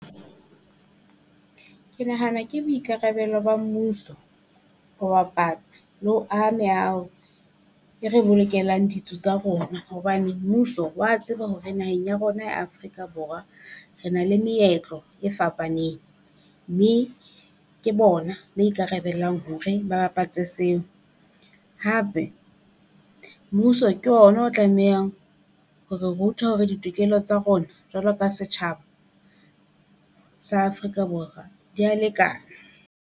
Ke nahana ke boikarabelo ba mmuso ho bapatsa le ho aha meaho e re bolokelang ditso tsa rona. Hobane mmuso wa tseba hore naheng ya rona ya Afrika Borwa re na le meetlo e fapaneng, mme ke bona ba ikarabellang hore ba bapatse seo. Hape mmuso ke ona o tlamehang ho re ruta hore ditokelo tsa rona, jwalo ka setjhaba sa Afrika Borwa dia lekana.